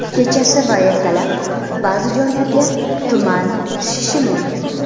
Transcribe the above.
kechasi va ertalab ba’zi joylarga tuman tushishi mumkin.